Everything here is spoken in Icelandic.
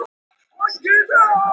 Og auðvitað veit ég það.